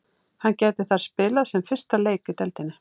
Hann gæti þar spilað sinn fyrsta leik í deildinni.